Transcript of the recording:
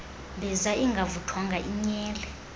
mbiza ingavuthwanga inyele